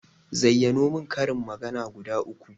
Zayyano mun karin magana guda uku